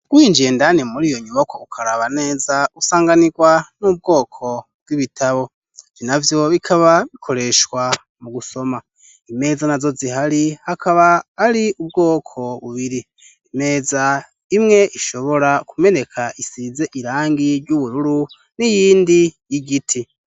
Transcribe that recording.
Winjiye indani muriyo nyubako ukaraba neza usanganirwa n'ubwoko bw'ibitabo, ivyo navyo bikaba bikoreshwa mu gusomwa, imeza nazo zihari akaba ari ubwoko bubiri imeza imwe ishobora kumeneka isize irangi ry'ubururu n'iyindi y'igiti.